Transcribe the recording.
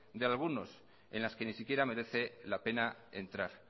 de algunos en las que ni siquiera merece la pena entrar